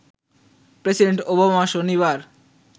president Obama শনিবার